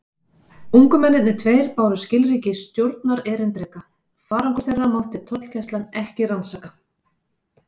Ungu mennirnir tveir báru skilríki stjórnarerindreka: farangur þeirra mátti tollgæslan ekki rannsaka.